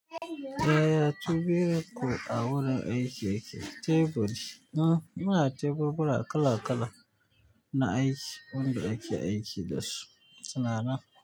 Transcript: Yaya teburin ku a wurin aiki yake. Teburi, uhun, muna teburi kala-kala na aiki wanda ake aiki da su suna nan.